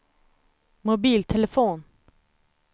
mobiltelefon